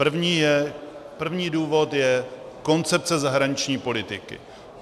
První důvod je koncepce zahraniční politiky.